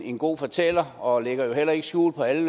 en god fortæller og lægger heller ikke skjul på alle